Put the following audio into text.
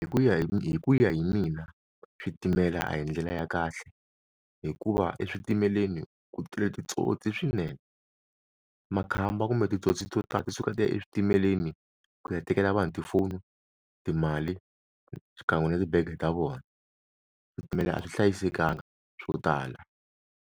Hi ku ya hi hi ku ya hi mina switimela a hi ndlela ya kahle hikuva eswitimeleni ku tele titsotsi swinene, makhamba kumbe titsotsi to tala ti suka ti ya eswitimeleni ku ya tekela vanhu tifoni, timali, xikan'we na ti-bag-e ta vona switimela a swi hlayisekanga swo tala.